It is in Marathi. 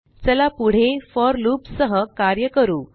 चला पुढे फोर loopसह कार्य करू